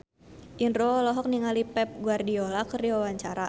Indro olohok ningali Pep Guardiola keur diwawancara